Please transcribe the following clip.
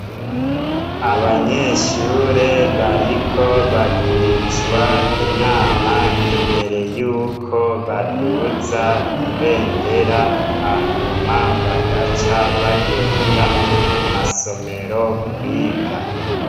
Abanyeshure bariko bagirishwa inama imbere yuko baduza ibendera hanyuma bagaca bagenda mu masomero kwiga.